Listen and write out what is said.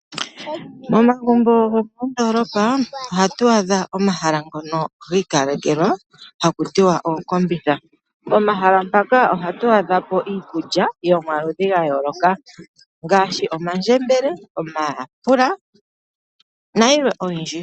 Momagumbo go mondolopa ohatu adha omahala ngono gi kalekelwa haku tiwa ookombitha momahala mpaka ohatu adhapo iikulya yomaludhi gayoloka ngaashi omandjembele , omayapula na yilwe oyindji.